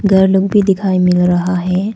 घर लोग भी दिखाई मिल रहा है।